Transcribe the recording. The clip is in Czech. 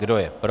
Kdo je pro?